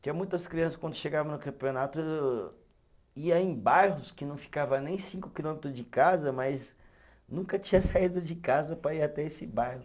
Tinha muitas criança, quando chegava no campeonato, ia em bairros que não ficava nem cinco quilômetros de casa, mas nunca tinham saído de casa para ir até esse bairro.